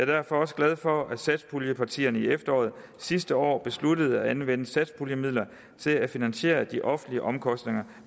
derfor også glad for at satspuljepartierne i efteråret sidste år besluttede at anvende satspuljemidler til at finansiere de offentlige omkostninger